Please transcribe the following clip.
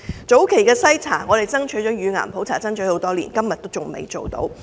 早期篩查方面，我們爭取乳癌普查多年，至今仍未做到。